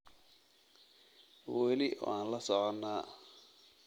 Weli waan la soconaa